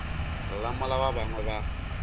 lla mola ba bangwe ba